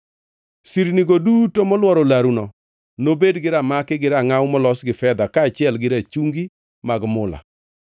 Sirnigo duto molworo laruno nobed gi ramaki gi rangʼaw molos gi fedha kaachiel gi rachungi mag mula.